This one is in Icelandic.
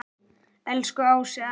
Elsku Ási afi.